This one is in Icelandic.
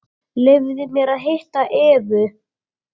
Leyfðu mér að hitta Evu.